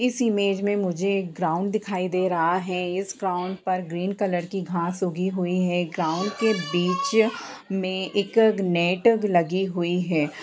इस इमेज में मुझे एक ग्राउंड दिखाई दे रहा है इस ग्राउंड पर ग्रीन कलर की घास उगी हुई है [ ग्राउंड के बिच में एक नेट लगी हुई है ।